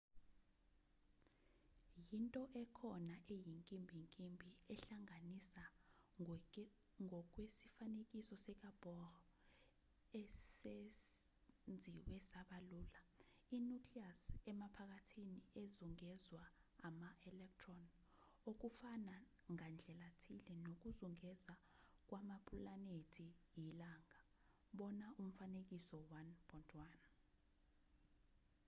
yinto ekhona eyinkimbinkimbi ehlanganisa ngokwesifanekiso sikabohr esenziwe saba lula i-nucleus emaphakathi ezungezwa ama-electron okufana ngandlelathile nokuzungeza kwamapulanethi ilunga bona umfanekiso 1.1